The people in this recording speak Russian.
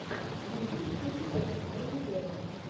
на ютубе включи пост малона вево